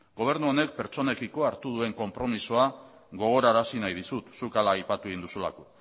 gobernu honek pertsonekiko hartu duen konpromisoa gogorarazi nahi dizut zuk hala aipatu egin duzulako